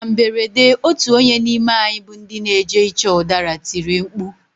Na mberede otu onye n'ime anyị bụ ndị n'eje ịchọ ụdara tiri mkpu.